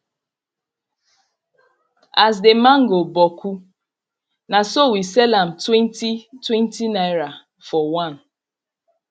as the mango boku na so we sell am twenty twenty naira for one